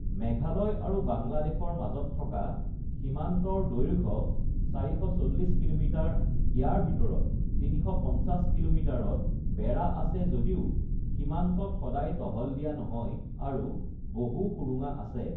মেঘালয় আৰু বাংলাদেশৰ মাজত থকা সীমান্তৰ দৈৰ্ঘ্য ৪৪০ কিলোমিটাৰ, ইয়াৰ ভিতৰত ৩৫০ কিলোমিটাৰত বেৰা আছে যদিও সীমান্তত সদায় টহল দিয়া নহয় আৰু বহু সুৰঙা আছে।